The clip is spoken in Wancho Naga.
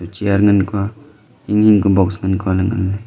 chair ngan kua hing hing ka box ngan kua le ngan ley.